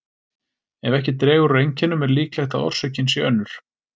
Ef ekki dregur úr einkennum er líklegt að orsökin sé önnur.